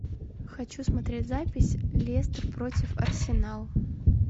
хочу смотреть запись лестер против арсенал